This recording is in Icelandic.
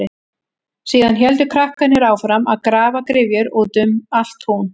Síðan héldu krakkarnir áfram að grafa gryfjur út um allt tún.